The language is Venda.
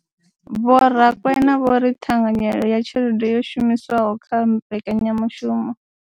Vho Rakwena vho ri ṱhanganyelo ya tshelede yo shumiswaho kha mbekanyamushumo.